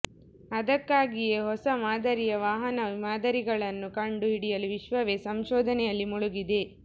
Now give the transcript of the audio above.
ಅದಕ್ಕಾಗಿಯೇ ಹೊಸ ಮಾದರಿಯ ವಾಹನ ಮಾದರಿಗಳನ್ನು ಕಂಡು ಹಿಡಿಯಲು ವಿಶ್ವವೇ ಸಂಶೋಧನೆಯಲ್ಲಿ ಮುಳುಗಿದೆ